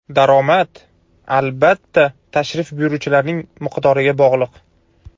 Daromad, albatta, tashrif buyuruvchilar miqdoriga bog‘liq.